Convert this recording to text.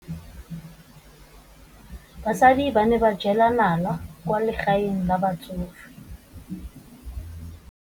Basadi ba ne ba jela nala kwaa legaeng la batsofe.